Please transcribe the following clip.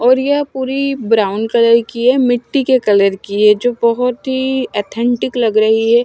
और यह पूरी ब्राउन कलर की है मिट्टी के कलर की है जो बोहोत ही अथेंटिक लग रही है।